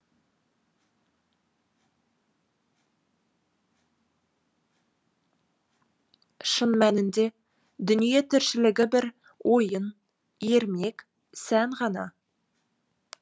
шын мәнінде дүние тіршілігі бір ойын ермек сән ғана